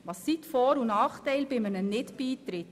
Was sind die Vor- und Nachteile eines Nicht-Beitritts?